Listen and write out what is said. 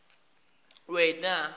wena